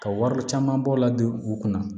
Ka wari caman bɔ ladon u kunna